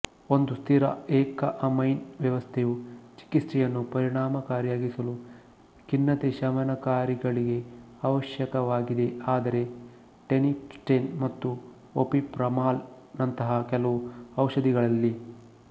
ಒಂದು ಸ್ಥಿರ ಏಕಅಮೈನ್ ವ್ಯವಸ್ಥೆಯು ಚಿಕಿತ್ಸೆಯನ್ನು ಪರಿಣಾಮಕಾರಿಯಾಗಿಸಲು ಖಿನ್ನತೆಶಮನಕಾರಿಗಳಿಗೆ ಅವಶ್ಯಕವಾಗಿದೆ ಆದರೆ ಟೈನೆಪ್ಟಿನ್ ಮತ್ತು ಒಪಿಪ್ರಮಾಲ್ ನಂತಹ ಕೆಲವು ಔಷಧಿಗಳಲ್ಲಿ